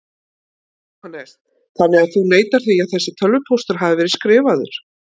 Jóhannes: Þannig að þú neitar því að þessi tölvupóstur hafi verið skrifaður?